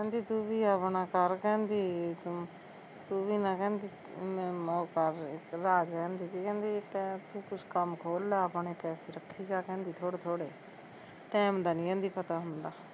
ਕਹਿੰਦੀ ਤੂੰ ਵੀ ਆਪਣਾ ਕਰ ਕਹਿੰਦੀ, ਤੂੰ ਵੀ ਨੀ ਕਹਿੰਦੀ ਉਹ ਕਰ, ਰਾਜ ਕਹਿੰਦੀ ਤੀ ਕਹਿੰਦੀ ਤੂੰ ਕੁਸ਼ ਕੰਮ ਖੋਲ ਲੈ ਆਪਣਾ, ਪੈਸੇ ਰੱਖੀ ਜਾਂ ਕਹਿੰਦੀ ਥੋੜੇ ਥੋੜੇ ਟੈਮ ਦਾ ਨੀ ਕਹਿੰਦੀ ਪਤਾ ਹੁੰਦਾ